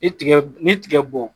Ni tigɛ ni tigɛ bɔn